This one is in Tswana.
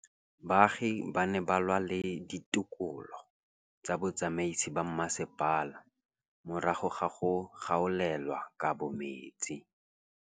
Baagi ba ne ba lwa le ditokolo tsa botsamaisi ba mmasepala morago ga go gaolelwa kabo metsi